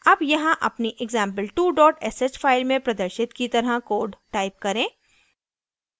अब यहाँ अपनी example2 sh file में प्रदर्शित की तरह code type करें